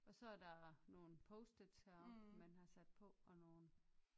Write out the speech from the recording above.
Og så er der nogle post-its heroppe man har sat på og nogle